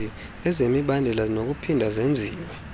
zemibandela zinokuphinda zenziwe